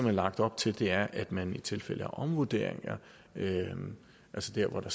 er lagt op til er at man i tilfælde af omvurderinger altså der hvor der